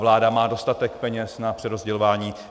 Vláda má dostatek peněz na přerozdělování.